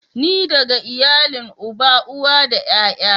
Ni daga iyalin uba, uwa da ƴaƴa.